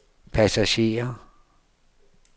passagerer